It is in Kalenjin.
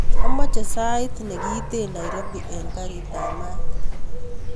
Amoche sait nekiiten nairobi en karit ap maat